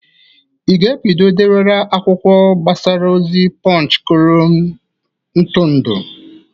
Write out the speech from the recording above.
Ị ga-ebido dewara akwụkwọ mgbasa ozi Pọnch kolum ntụrụndụ?